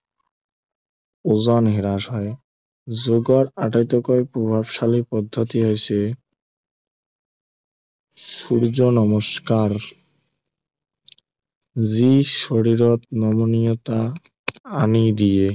ওজন হ্ৰাস হয় যোগৰ আটাইতকৈ প্ৰভাৱশালী পদ্ধতি হৈছে সূৰ্য্য় নমস্কাৰ যি শৰীৰত নমনীয়তা আনি দিয়ে